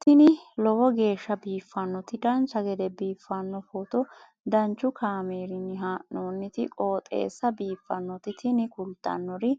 tini lowo geeshsha biiffannoti dancha gede biiffanno footo danchu kaameerinni haa'noonniti qooxeessa biiffannoti tini kultannori